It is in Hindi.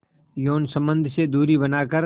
यौन संबंध से दूरी बनाकर